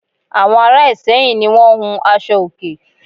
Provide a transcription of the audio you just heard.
Àwon Ara Ìsẹ́yìn ni won n hun aṣọ òkè